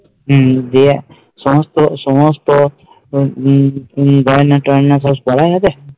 হম গিয়ে সমস্ত সমস্ত গয়না টায়না সব পড়া হবে